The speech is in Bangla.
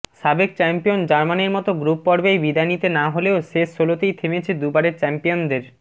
সাবেক চ্যাম্পিয়ন জার্মানির মতো গ্রুপ পর্বেই বিদায় নিতে না হলেও শেষ ষোলোতেই থেমেছে দুবারের চ্যাম্পিয়নদের